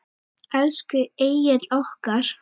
Elsku Egill okkar.